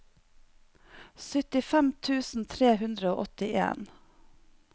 syttifem tusen tre hundre og åttien